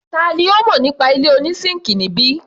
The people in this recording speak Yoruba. Tani ó mọ nípa ilé oní síńkì níbí?